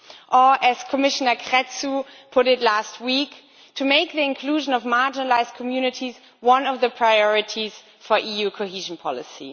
or, as Commissioner Crețu put it last week, to make the inclusion of marginalised communities one of the priorities for EU cohesion policy.